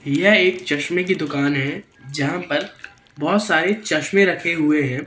यह एक चश्मे की दुकान है जहां पर बहोत सारे चश्मा रखे हुए हैं।